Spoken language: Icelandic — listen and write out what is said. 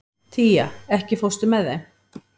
Tía, ekki fórstu með þeim?